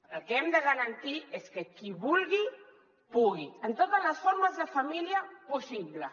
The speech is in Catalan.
el que hem de garantir és que qui vulgui pugui en totes les formes de família possible